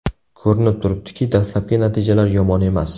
Ko‘rinib turibdiki, dastlabki natijalar yomon emas.